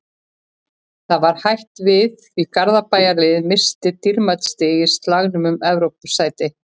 Það er hætt við því að Garðabæjarliðið missi dýrmæt stig í slagnum um Evrópusæti.